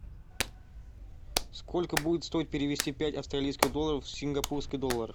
сколько будет стоить перевести пять австралийских долларов в сингапурский доллар